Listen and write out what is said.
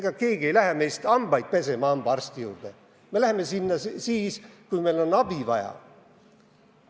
Ega keegi meist ei lähe hambaarsti juurde hambaid pesema, me läheme sinna ikka siis, kui meil on abi vaja.